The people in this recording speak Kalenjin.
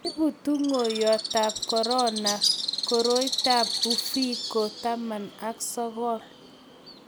ibu tunguyondetab korona koroitab uviko19